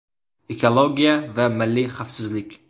Ekologiya va milliy xavfsizlik.